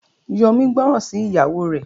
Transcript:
Yomi gbóròn sí ìyàwó rẹ.